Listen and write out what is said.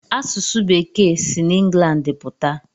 Asụsụ bekee si n'England pụta?